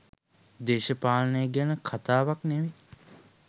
දේශපාලනය ගැන කතාවක් නෙමෙයි